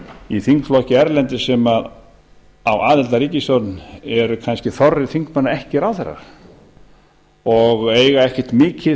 í þingflokki erlendis sem á aðild að ríkisstjórn er kannski þorri þingmanna ekki ráðherrar og eiga ekkert mikið